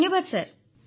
ଧନ୍ୟବାଦ୍ ସାର